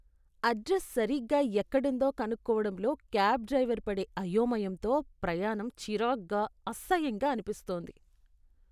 Address సరిగ్గా ఎక్కడుందో కనుక్కోవడంలో క్యాబ్ డ్రైవర్ పడే అయోమయంతో ప్రయాణం చిరాగ్గా, అసహ్యంగా అనిపిస్తుంది.